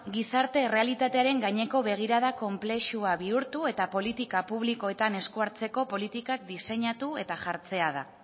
gizarte errealitatearen gaineko begirada konplexua bihurtu eta politika publikoetan eskuhartzeko politikak diseinatu eta jartzea da